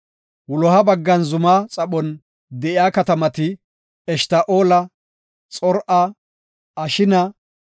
Wuloha baggan zuma xaphon de7iya katamati, Eshta7oola, Xor7a, Ashina,